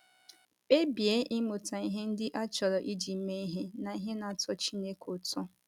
Kpebie ịmụta ihe ndị a chọrọ iji mee ihe na ihe na - atọ Chineke ụtọ.